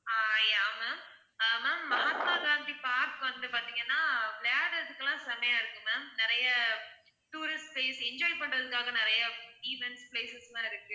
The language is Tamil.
ஆஹ் yeah ma'am uh ma'am Mahatma Gandhi park வந்து பார்த்தீங்கன்னா விளையாடறதுக்குலாம் செம்மையா இருக்கும் ma'am நிறைய tourist place enjoy பண்றதுக்காக நிறைய event places லாம் இருக்கு